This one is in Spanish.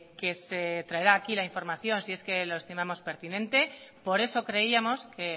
que se traerá aquí la información si es que los estimamos pertinente por eso creíamos que